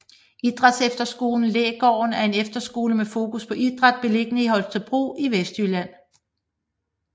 Idrætsefterskolen Lægården er en efterskole med fokus på idræt beliggende i Holstebro i Vestjylland